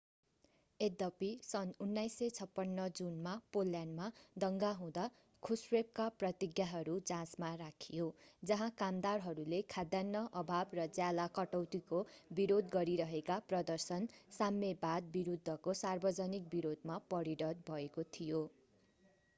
यद्यपि सन् 1956 जुनमा पोल्यान्डमा दङ्गा हुँदा ख्रुश्चेभका प्रतिज्ञाहरू जाँचमा राखियो जहाँ कामदारहरूले खाद्यान्न अभाव र ज्याला कटौतीको विरोध गरिरहेका प्रदर्शन साम्यवाद विरूद्धको सार्वजनिक विरोधमा परिणत भएको थियो